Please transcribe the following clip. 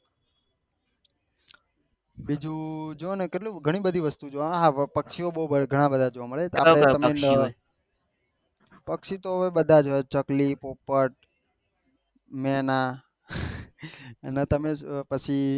બીજું જોને કેટલું ઘણી બધી વસ્તુઓં છે જોને પક્ષિયોં બહુ ઘણા બધા છે અમારે પક્ષી તો હવે બધાજ હોય ચકલી પોપટ મેના અને તમે પછી